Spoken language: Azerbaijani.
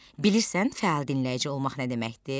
Bilirsən fəal dinləyici olmaq nə deməkdir?